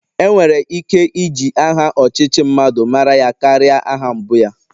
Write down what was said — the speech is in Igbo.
Enwere ike iji aha ọchịchị mmadụ mara ya karia aha mbụ ya